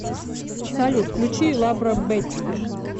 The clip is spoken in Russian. салют включи лабро бетти